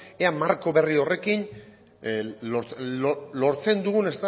ea marko berri horrekin lortzen dugun